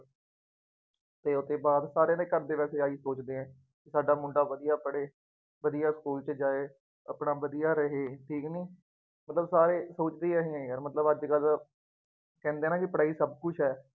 ਅਤੇ ਉਹਦੇ ਬਾਅਦ, ਸਾਰਿਆਂ ਦੇ ਘਰ ਦੇ ਵੈਸੇ ਆਹ ਹੀ ਸੋਚਦੇ ਹੈ। ਸਾਡਾ ਮੁੰਡਾ ਵਧੀਆ ਪੜੇ। ਵਧੀਆ ਸਕੂ਼ਲ ਚ ਜਾਏ, ਆਪਣਾ ਵਧੀਆ ਰਹੇ, ਠੀਕ ਕਿ ਨਹੀਂ, ਮਤਲਬ ਸਾਰੇ ਸੋਚਦੇ ਐਵੇਂ ਹੈ ਯਾਰ ਮਤਲਬ ਅੱਜ ਜਦ ਕਹਿੰਦੇ ਹੈ ਨਾ ਪੜ੍ਹਾਈ ਸਭ ਕੁੱਝ ਹੈ।